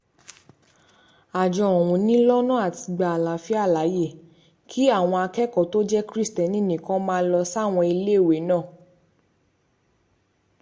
àjọ ọ̀hún ni lọ́nà àti gba àlàáfíà láàyè kí àwọn akẹ́kọ̀ọ́ tó jẹ́ kristẹni nìkan máa lọ sáwọn iléèwé náà